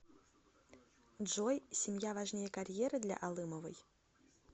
джой семья важнее карьеры для алымовой